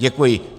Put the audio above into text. Děkuji.